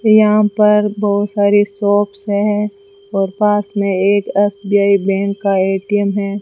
यहां पर बहुत सारी शॉप्स हैं और पास में एक एस_बी_आई बैंक का ए_टी_एम है।